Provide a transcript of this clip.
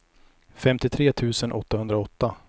femtiotre tusen åttahundraåtta